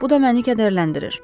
Bu da məni kədərləndirir.